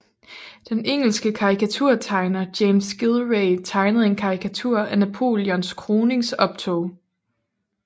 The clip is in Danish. Den engelske karikaturtegner James Gillray tegnede en karikatur af Napoleons kroningsoptog